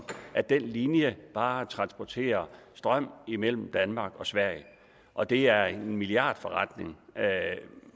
at den linje bare transporterer strøm imellem danmark og sverige og det er en milliardforretning